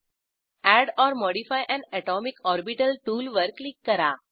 add or modify an atomic orbital टूलवर क्लिक करा